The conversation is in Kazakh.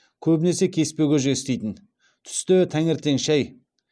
көбінесе кеспе көже істейтін түсте таңертең шай